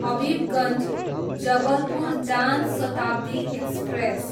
Habibganj, Jabalpur Jan Shatabdi express